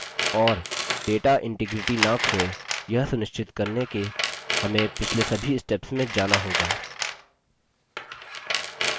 और data integrity न खोये यह सुनिश्चित करने के हमें पिछले सभी steps में जाना होगा